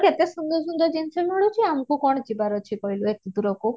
କେତେ ସୁନ୍ଦର ସୁନ୍ଦର ଜିନିଷ ମିଳୁଛି ଆମକୁ କଣ ଯିବାର ଅଛି କହିଲ ଏତେ ଦୁରକୁ